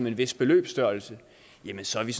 en vis beløbsstørrelse jamen så er vi